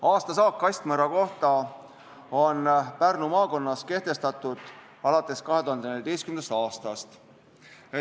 Aastasaak kastmõrra kohta on Pärnu maakonnas kehtestatud alates 2014. aastast.